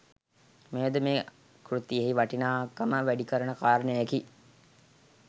මෙයද මේ කෘතියෙහි වටිනාකම වැඩිකරන කාරණයකි.